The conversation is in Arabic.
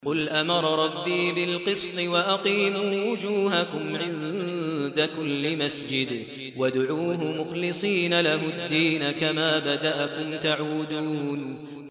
قُلْ أَمَرَ رَبِّي بِالْقِسْطِ ۖ وَأَقِيمُوا وُجُوهَكُمْ عِندَ كُلِّ مَسْجِدٍ وَادْعُوهُ مُخْلِصِينَ لَهُ الدِّينَ ۚ كَمَا بَدَأَكُمْ تَعُودُونَ